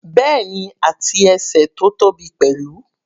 Bẹ́ẹ̀ni, àti ẹsẹ̀ tó tóbi pẹ̀lú.